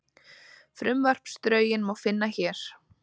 Frumvarpsdrögin má finna hér